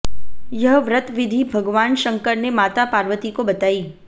यह व्रत विधि भगवान शंकर ने माता पार्वती को बताई